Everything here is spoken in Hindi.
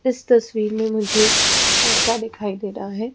इस तस्वीर में मुझे एक लड़का दिखाई दे रहा है।